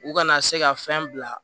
U kana se ka fɛn bila